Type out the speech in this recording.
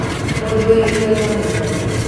Mũndũ wĩ igweta mũno